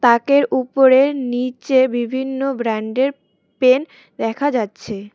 তাকের উপরে নীচে বিভিন্ন ব্র্যান্ডের পেন দেখা যাচ্ছে।